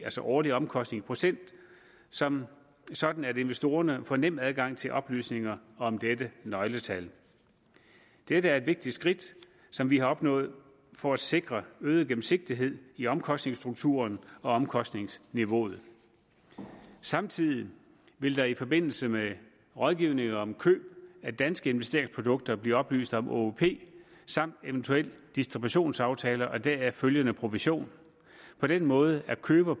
altså årlig omkostningsprocent sådan sådan at investorerne får nem adgang til oplysninger om dette nøgletal dette er et vigtigt skridt som vi har opnået for at sikre øget gennemsigtighed i omkostningsstrukturen og omkostningsniveauet samtidig vil der i forbindelse med rådgivning om køb af danske investeringsprodukter blive oplyst om åop samt eventuel distributionsaftale og deraf følgende provision på den måde er køber